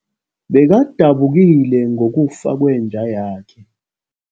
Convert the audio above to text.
Bekadabukile ngokufa kwenja yakhe.